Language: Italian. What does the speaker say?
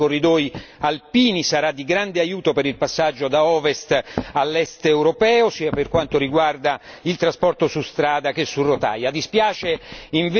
sono convinto che lo sviluppo dei corridoi alpini sarà di grande aiuto per il passaggio dall'ovest all'est europeo, sia per quanto riguarda il trasporto su strada che su rotaia.